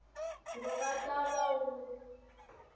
wu nga ta va wu